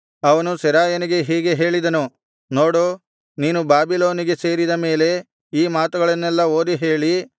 ಅವನು ಸೆರಾಯನಿಗೆ ಹೀಗೆ ಹೇಳಿದನು ನೋಡು ನೀನು ಬಾಬಿಲೋನಿಗೆ ಸೇರಿದ ಮೇಲೆ ಈ ಮಾತುಗಳನ್ನೆಲ್ಲಾ ಓದಿ ಹೇಳಿ